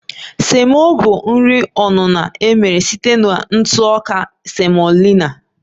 Semo bụ nri onuno emere site na ntụ ọka semolina